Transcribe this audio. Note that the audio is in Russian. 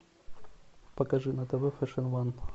покажи на тв фэшн ван